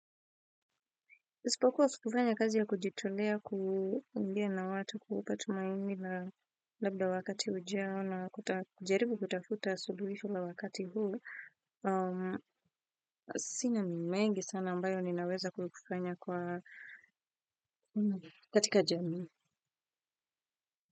Isipokuwa furaha ya kazi ya kujitolea, kuongea na watu kuwapa tumaini la labda wakati ujao na kujaribu kutafuta suluhisho la wakati huu. Sina ni mengi sana ambayo ninaweza kufanya kwa katika jamii.